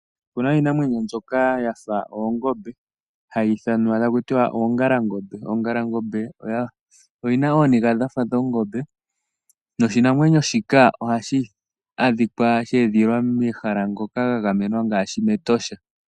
Otuna iinamwenyo mbyoka ya fa oongombe, hayi ithanwa taku tiwa oongalangombe. Oongalangombe oyi na ooniga dha fa dhongombe, noshinamwenyo shika, ohashi adhika momahala ga gamenwa ngaashi mEtosha.